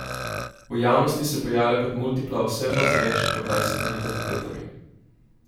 V javnosti se pojavlja kot multipla osebnost z več kot dvajsetimi identitetami.